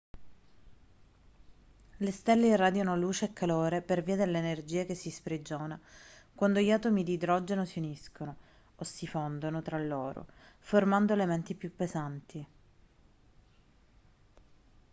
le stelle irradiano luce e calore per via dell'energia che si sprigiona quando gli atomi di idrogeno si uniscono o si fondono tra loro formando elementi più pesanti